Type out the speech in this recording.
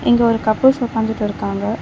இங்க ஒரு கப்பிள்ஸ் ஒக்காந்துட்டு இருக்காங்க.